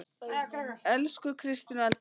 Elsku Kristín og Eldar Hrafn.